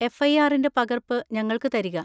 എഫ്.ഐ.ആറിന്‍റെ പകർപ്പ് ഞങ്ങൾക്ക് തരിക.